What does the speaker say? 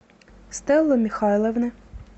стеллы михайловны